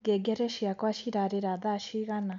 ngengere cĩakwa cirarira thaa cĩĩgana